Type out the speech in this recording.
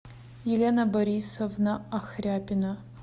елена борисовна ахряпина